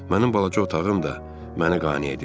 Mənim balaca otağım da mənə qane edirdi.